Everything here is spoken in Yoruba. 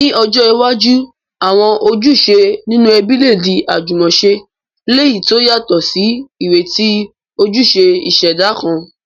Ní ọjọ́ iwájú, àwọn ojúṣe nínú ẹbí lè di àjúmọ̀se, léyìí to yàtò sí ìrètí ojúṣe ìṣẹ̀dá kan.